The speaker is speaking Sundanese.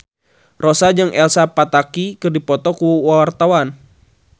Rossa jeung Elsa Pataky keur dipoto ku wartawan